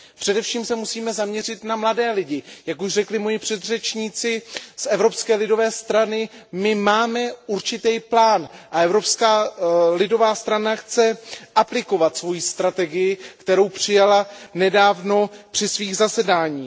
Především se musíme zaměřit na mladé lidi, jak už řekli moji předřečníci z Evropské lidové strany my máme určitý plán a Evropská lidová strana chce aplikovat svoji strategii, kterou přijala nedávno při svých zasedáních.